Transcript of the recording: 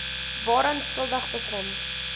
waaraan skuldig bevind